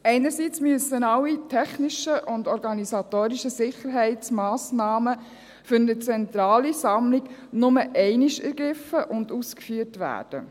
Einerseits müssen alle technischen und organisatorischen Sicherheitsmassnahmen für eine zentrale Sammlung nur einmal ergriffen und ausgeführt werden.